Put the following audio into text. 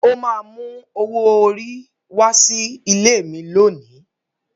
Ó máa mú owó orí wá sí ilé mi lónìí.